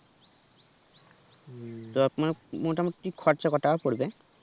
তো আপনার মোটা মতি খরচ কতো টাকা পড়বে